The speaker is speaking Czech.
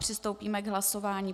Přistoupíme k hlasování.